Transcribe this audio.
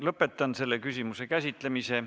Lõpetan selle küsimuse käsitlemise.